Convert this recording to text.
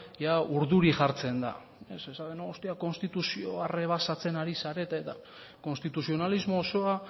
ia urduri jartzen da hostia konstituzioa errebasatzen ari zarete eta konstituzionalismo osoa